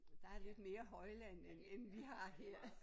Der er lidt mere højland end end vi har her